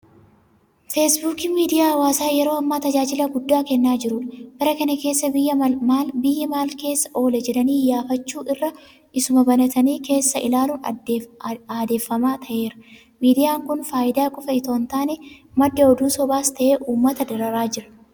Feesbuukiin miidiyaa hawaasaa yeroo ammaa tajaajila guddaa kennaa jirudha. Bara kana keessa biyyi maalkeessa oole jedhanii iyyaafachuu irra isuma banatanii keessa ilaaluun aadeffamaa ta'eera. Miidiyaan kun faayidaa qofa itoo hintaane madda oduu sobaas ta'ee uummata dararaa jira.